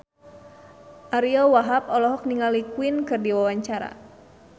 Ariyo Wahab olohok ningali Queen keur diwawancara